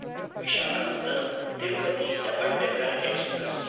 Visakhapatnam Tirupati double decker express